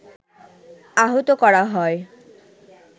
আহত করা হয়